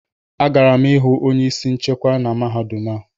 Agara m ịhụ onye isi nchekwa na mahadum a